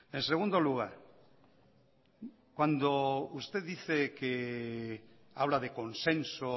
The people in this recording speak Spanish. en segundo lugar cuando usted dice que habla de consenso